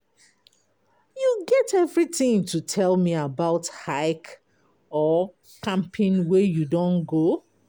you get everything to tell me about hike or camping wey you don go?